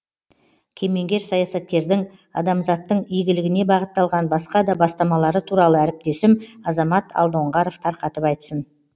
кемеңгер саясаткердің адамзаттың игілігіне бағытталған басқа да бастамалары туралы әріптесім азамат алдоңғаров тарқатып айтсын